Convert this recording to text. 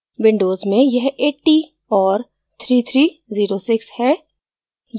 windows में यह 80 और 3306 है